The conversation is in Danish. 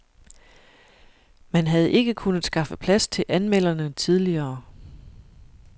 Man havde ikke kunnet skaffe plads til anmelderne tidligere.